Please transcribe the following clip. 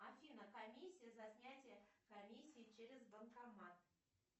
афина комиссия за снятие комиссии через банкомат